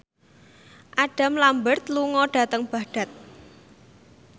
Adam Lambert lunga dhateng Baghdad